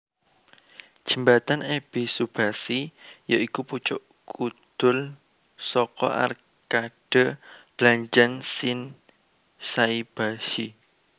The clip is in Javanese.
Jembatan Ebisubashi ya iku pucuk kudul saka arkade blanjan Shinsaibashi